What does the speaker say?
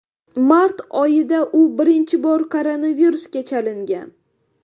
Mart oyida u birinchi bor koronavirusga chalingan.